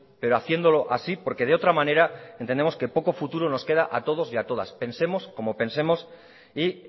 pero haciéndolo así porque de otra manera entendemos que poco futuro nos queda a todos y a todas pensemos como pensemos y